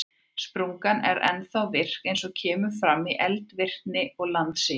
Sprungan er ennþá virk eins og kemur fram í eldvirkni og landsigi.